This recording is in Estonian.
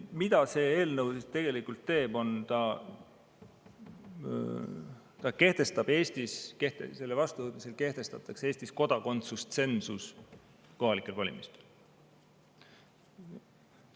Mida see eelnõu tegelikult teeb, on see: selle vastuvõtmisel kehtestatakse Eestis kodakondsustsensus kohalikel valimistel.